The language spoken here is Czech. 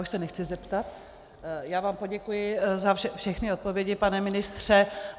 Už se nechci zeptat, já vám poděkuji za všechny odpovědi, pane ministře.